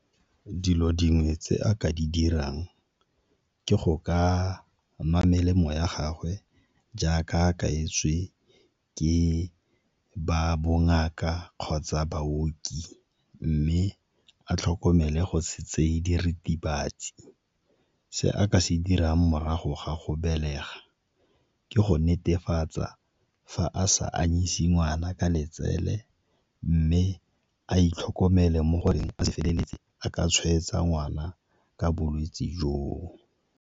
Dilo dingwe tse a ka di dirang ke go ka nwa melemo ya gagwe jaaka a kaetswe ke ba bongaka kgotsa baoki, mme a tlhokomele go se tseye diritibatsi. Se a ka se dirang morago ga go belega ke go netefatsa fa a sa anyisi ngwana ka letsele mme a itlhokomele mo goreng a feleletse a ka tshwaetsa ngwana ka bolwetse joo.